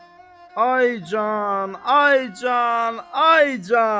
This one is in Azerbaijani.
Ay can, ay can, ay can.